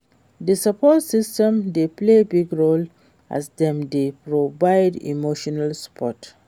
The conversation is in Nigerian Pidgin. di support system dey play big role as dem dey provide emotional support.